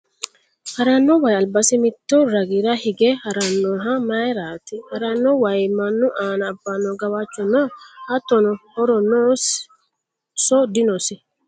haranno wayi albasi mittu ragira hige harannoha mayiiraati? haranno wayi mannu aana abbanno gawajjo no? hattono horo noosinso dinosi ?